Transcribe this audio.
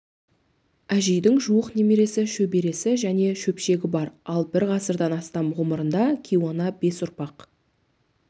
әжейдің жуық немересі шөбересі және шөпшегі бар ал бір ғасырдан астам ғұмырында кейуана бес ұрпақ